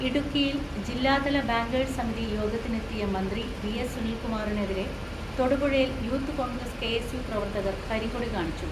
ഇടുക്കിയിൽ ജില്ലാതല ബാങ്കേഴ്സ് സമിതി യോഗത്തി നെത്തിയ മന്ത്രി വി എസ് സുനിൽകുമാറിനെതിരെ തൊടു പുഴയിൽ youth Congress K S U പ്രവർത്തകർ കരിങ്കൊടി കാണിച്ചു.